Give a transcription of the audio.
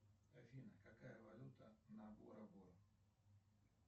афина какая валюта на бора бора